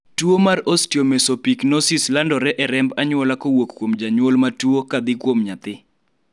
tuo mar Osteomesopyknosis landore e remb anyuola kowuok kuom janyuol matuo kadhi kuom nyathi